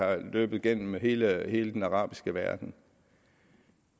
er løbet igennem hele hele den arabiske verden